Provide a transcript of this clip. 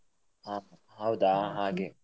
ಹಾ ಹೌದಾ ಹಾಗೆ.